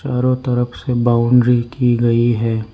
चारो तरफ से बाउंड्री की गई है।